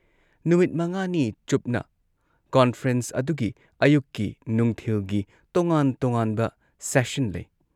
ꯅꯨꯃꯤꯠ ꯃꯉꯥꯅꯤ ꯆꯨꯞꯅ ꯀꯣꯟꯐ꯭ꯔꯦꯟꯁ ꯑꯗꯨꯒꯤ ꯑꯌꯨꯛꯀꯤ ꯅꯨꯡꯊꯤꯜꯒꯤ ꯇꯣꯉꯥꯟ ꯇꯣꯉꯥꯟꯕ ꯁꯦꯁꯟ ꯂꯩ ꯫